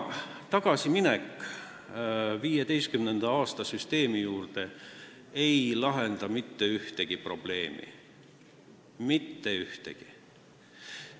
Tagasiminek 2015. aasta süsteemi juurde ei lahenda mitte ühtegi probleemi – mitte ühtegi!